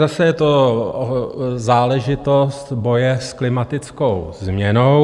Zase je to záležitost boje s klimatickou změnou.